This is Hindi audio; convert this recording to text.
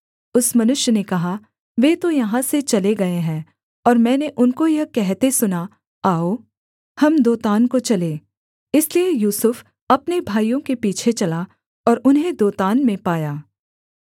उस मनुष्य ने कहा वे तो यहाँ से चले गए हैं और मैंने उनको यह कहते सुना आओ हम दोतान को चलें इसलिए यूसुफ अपने भाइयों के पीछे चला और उन्हें दोतान में पाया